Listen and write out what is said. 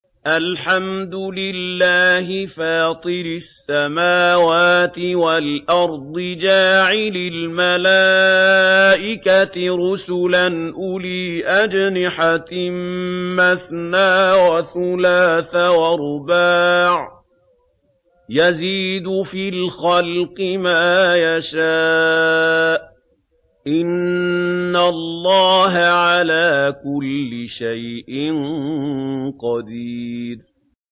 الْحَمْدُ لِلَّهِ فَاطِرِ السَّمَاوَاتِ وَالْأَرْضِ جَاعِلِ الْمَلَائِكَةِ رُسُلًا أُولِي أَجْنِحَةٍ مَّثْنَىٰ وَثُلَاثَ وَرُبَاعَ ۚ يَزِيدُ فِي الْخَلْقِ مَا يَشَاءُ ۚ إِنَّ اللَّهَ عَلَىٰ كُلِّ شَيْءٍ قَدِيرٌ